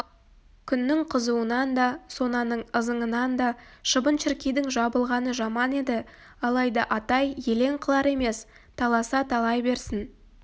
күннің қызуынан да сонаның ызыңынан да шыбын-шіркейдің жабылғаны жаман еді алайда атай елең қылар емес таласа талай берсін